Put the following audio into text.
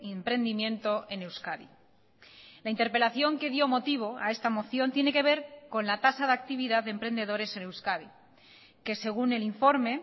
emprendimiento en euskadi la interpelación que dio motivo a esta moción tiene que ver con la tasa de actividad de emprendedores en euskadi que según el informe